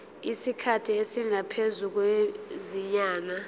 isikhathi esingaphezulu kwezinyanga